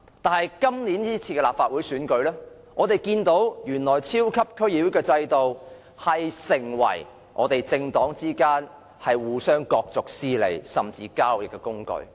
但是，在本屆立法會選舉，我們看到原來超級區議會制度會成為政黨之間互相角逐私利，甚至是交易的工具。